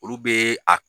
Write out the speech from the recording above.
Olu be a